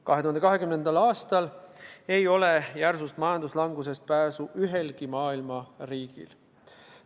2020. aastal ei ole järsust majanduslangusest pääsu ühelgi maailma riigil.